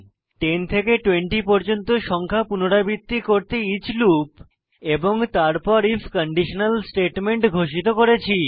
10 থেকে 20 পর্যন্ত সংখ্যা পুনরাবৃত্তি করতে ইচ লুপ তারপর আইএফ কন্ডিশনাল স্টেটমেন্ট ঘোষিত করি